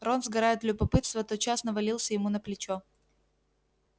рон сгорая от любопытства тотчас навалился ему на плечо